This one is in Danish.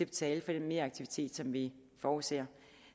betale for den meraktivitet som vi forudser